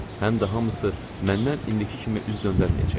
Həm də hamısı məndən indiki kimi üz döndərməyəcəklər.